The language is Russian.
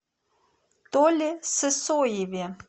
толе сысоеве